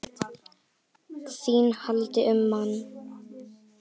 ÞÍN HALDI UM MANN!